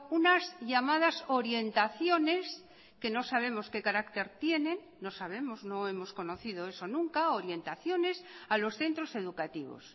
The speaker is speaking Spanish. unas llamadas orientaciones que no sabemos que carácter tienen no sabemos no hemos conocido eso nunca orientaciones a los centros educativos